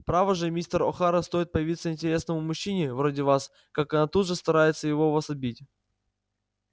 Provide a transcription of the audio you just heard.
право же мистер охара стоит появиться интересному мужчине вроде вас как она тут же старается его у вас отбить